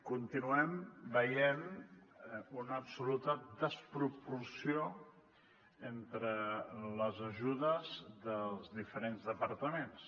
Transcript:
continuem veient una absoluta desproporció entre les ajudes dels diferents departaments